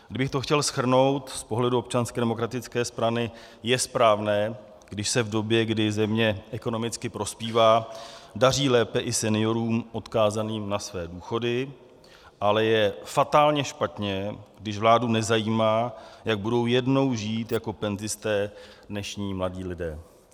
Kdybych to chtěl shrnout z pohledu Občanské demokratické strany, je správné, když se v době, kdy země ekonomicky prospívá, daří lépe i seniorům odkázaným na své důchody, ale je fatálně špatně, když vládu nezajímá, jak budou jednou žít jako penzisté dnešní mladí lidé.